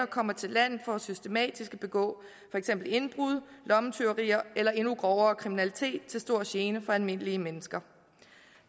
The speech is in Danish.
kommer til landet for systematisk at begå for eksempel indbrud lommetyveri eller endnu grovere kriminalitet til stor gene for almindelige mennesker